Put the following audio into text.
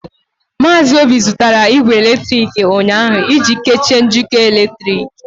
Maazị Obi zụtara igwe eletrịkị ụnyaahụ iji kechie njikọ eletrik.